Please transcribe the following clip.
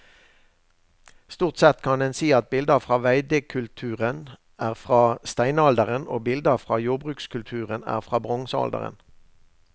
Stort sett kan en si at bilder fra veidekulturen er fra steinalderen og bilder fra jordbrukskulturen er fra bronsealderen.